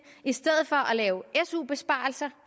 i stedet for at lave su besparelser